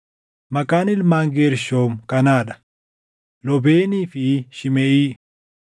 Maqaan Ilmaan Geershoom kanaa dha: Loobeenii fi Shimeʼii.